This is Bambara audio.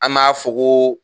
An b'a fɔ ko